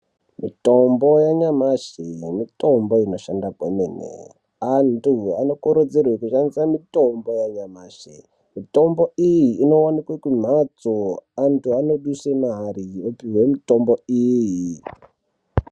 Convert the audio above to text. Mitombo yanyamashi mitombo inoshanda kwemene antu anokurudzirwe kushandise mitombo yanyamashi mitombo iyi inowanikwe kumhatso antu anoduse mari opihwe mitombo iyi.